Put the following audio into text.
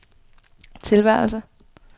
tilværelse